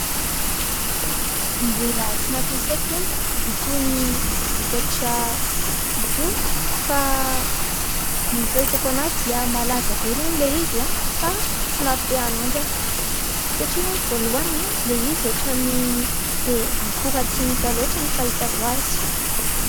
Mbola tsy nampiasaoko aloha itony vokatra itony fa ny fahitako azy dia malaza be aloha olay izy fa tsy mampite-hanandrana satria aloha voalohany ilay izy ohatran'ny be akora simika loatra ny fahitako azy.